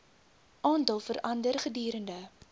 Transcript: aantal verander gedurende